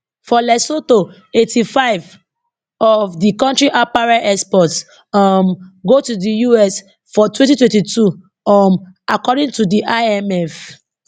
for lesotho 85 of di kontri apparel exports um go to di us for 2022 um according to di imf